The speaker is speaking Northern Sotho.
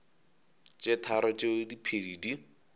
tše tharo tšeo diphedi di